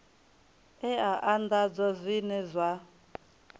e a anḓadzwa zwine zwa